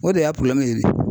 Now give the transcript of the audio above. O de y'a ye